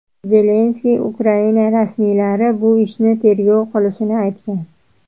Zelenskiy Ukraina rasmiylari bu ishni tergov qilishini aytgan.